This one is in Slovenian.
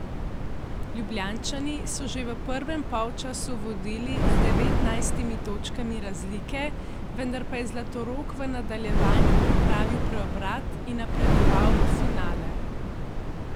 Ljubljančani so že v prvem polčasu vodili z devetnajstimi točkami razlike, vendar pa je Zlatorog v nadaljevanju pripravil preobrat in napredoval v finale.